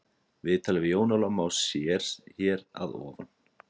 Viðtalið við Jón Óla má sér hér að ofan.